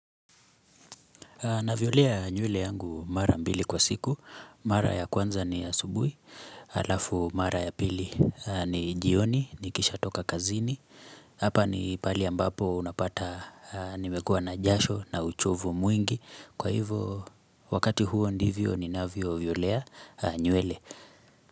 Navyolea nywele yangu mara mbili kwa siku, mara ya kwanza ni asubuhi, alafu mara ya pili ni jioni, nikishatoka kazini, hapa ni pahali ambapo unapata nimekua na jasho na uchovu mwingi, kwa hivo wakati huo ndivyo ni navyo violea nywele.